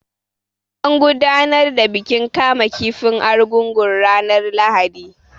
An gudanar da bikin kama kifin Argungun ranar Lahadi.